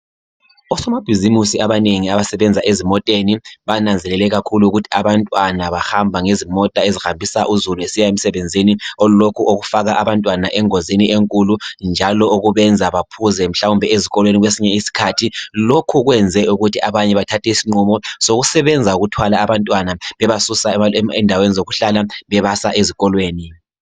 Osomabhizimusi abanengi abasebenzela ezimoteni, bananzelele kakhulu ukuthi abantwana bahamba ngezimota ezihambisa uzulu esiya emsebenzini olokhu kufaka abantwana engozini enkulu njalo okubenza baphuze mhlawumbe ezikolweni kwesinye isikhathi. Lokhu kwenze ukuthi abanye bathathe isinqumo sokusebenza ukuthwala abantwana bebasusa endaweni zokuhlala bebasa ezikolweni.